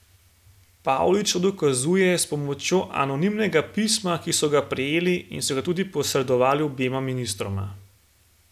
Pavlič to dokazuje s pomočjo anonimnega pisma, ki so ga prejeli in so ga tudi posredovali obema ministroma.